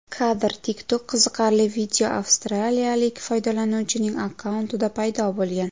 Kadr: TikTok Qiziqarli video avstraliyalik foydalanuvchining akkauntida paydo bo‘lgan.